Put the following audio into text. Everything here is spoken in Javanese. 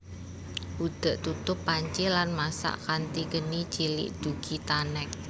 Udhek tutup panci lan masak kanthi geni cilik dugi tanek